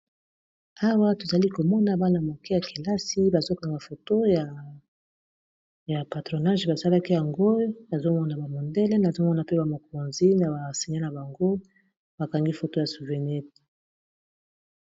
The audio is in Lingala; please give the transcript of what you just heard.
Awa tozali komona bana moke ya kelasi bazokanga foto ya patronage basalaki yango nazomona ba mondele, nazomona mpe bamokonzi na basenya na bango bakangi foto ya souvenete.